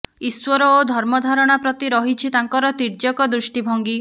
ଈଶ୍ୱର ଓ ଧର୍ମ ଧାରଣା ପ୍ରତି ରହିଛି ତାଙ୍କର ତୀର୍ଯ୍ୟକ ଦୃଷ୍ଟିଭଙ୍ଗୀ